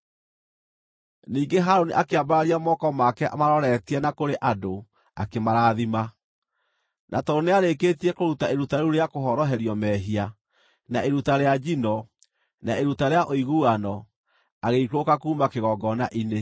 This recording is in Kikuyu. Ningĩ Harũni akĩambararia moko make amaroretie na kũrĩ andũ akĩmarathima. Na tondũ nĩarĩkĩtie kũruta iruta rĩu rĩa kũhoroherio mehia, na iruta rĩa njino, na iruta rĩa ũiguano, agĩikũrũka kuuma kĩgongona-inĩ.